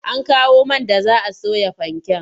An kawo man da za a soya fanken?